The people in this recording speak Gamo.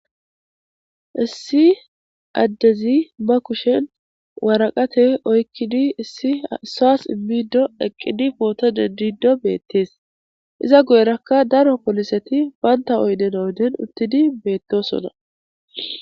Issi addezi ma kushen waraqate oykkidi issi issaas immido eqqidi pootode dido beettees iza guyerakka daro poliseti baynta oyden oyden uttidi beettosona.